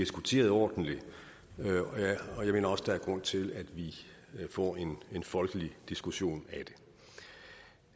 diskuteret ordentligt og jeg mener også der er grund til at vi får en folkelig diskussion